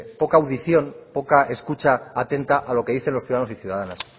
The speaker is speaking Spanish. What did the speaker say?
poca audición poca escucha atenta a lo que dicen los ciudadanos y ciudadanas